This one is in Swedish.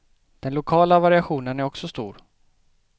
Den lokala variationen är också stor.